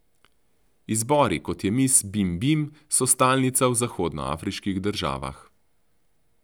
Izbori, kot je mis Bim Bim, so stalnica v zahodnoafriških državah.